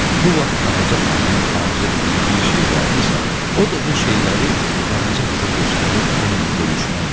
Bu vaxt Ağca xanımın arzu etdiyi bir şey vardısa, o da bu şeyləri Qaraca qıza göstərib onunla bölüşmək idi.